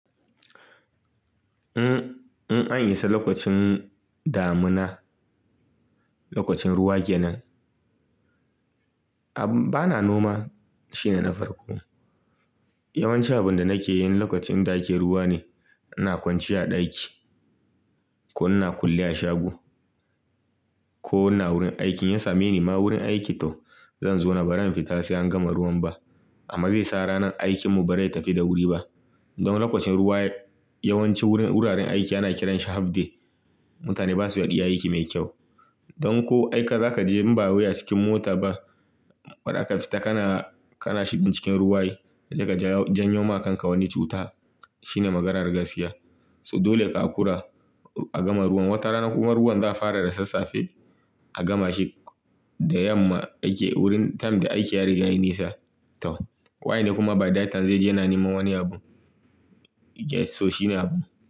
In, in an yi sa lokacin damina, lokacin ruwa kenan, a bana noma shine na farko. Yawanci abin da nake yi in lokacin da ake ruwa ne, ina kwanciya a ɗaki ko ina kulle a shago ko ina wurin aikin. In same ni ma wurin aiki to zan zona baran fita sai an gama ruwan ba. Amma zai sa ranan aikinmu ba rai tafi da wuri ba. Don lokacin ruwa yawanci wurin wuraren aiki ana kiran shi half day. Mutane ba su iya aiki mai kyau. Don ko aika za ka je imba wai a cikin mota ba, baraka fita kana, kana shigan cikin ruwa ai, kaje ka ja, janyo ma kanka wani cuta shine maganar gaskiya. So dole ka hakura a gama ruwan. Wata rana kuma ruwan za a fara da sassafe a gama shi da yamma yake wurin, time da aiki ya riga ya yi nisa. To waye ne kuma by that time zai je ya na niman wani abu? Get so shine abu.